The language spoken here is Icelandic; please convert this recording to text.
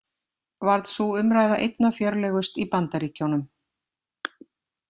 Varð sú umræða einna fjörlegust í Bandaríkjunum.